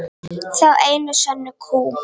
Þá einu sönnu kú.